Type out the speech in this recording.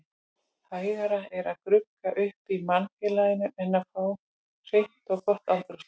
Hægara er að grugga upp í mannfélaginu en að fá hreint og gott andrúmsloft.